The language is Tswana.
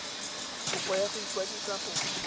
kopo ya go ikwadisa go